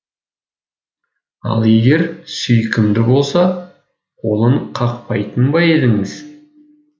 ал егер сүйкімді болса қолын қақпайтын ба едіңіз